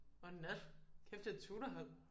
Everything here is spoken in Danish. Og Nat kæft et tutorhold